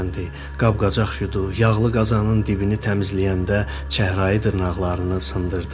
Qab-qacaq yudu, yağlı qazanın dibini təmizləyəndə çəhrayı dırnaqlarını sındırdı.